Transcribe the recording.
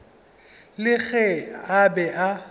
le ge a be a